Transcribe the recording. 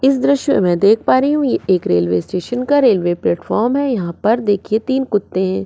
इस दॄश्य में दिख पा रही हु एक रेल्वे स्टेशन का रेल्वे प्लेटफॉर्म है यहापर देखए तीन कुत्ते है।